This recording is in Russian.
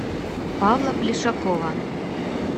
павла плешакова